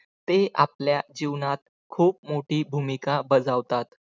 ते आपल्या जीवनात खूप मोठी भूमिका बजावतात.